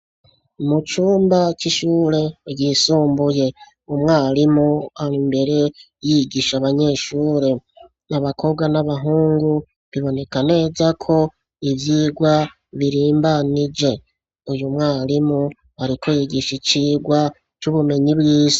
Mu cumba c'ishure yisumbuye umwarimu aro imbere yigisha abanyeshure abakobwa n'abahungu biboneka neza ko ivyirwa birimbanije uyu mwarimu arikoye igishi cirwa c'ubumenyi bwise.